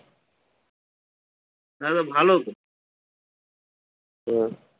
না না ভালো তো হম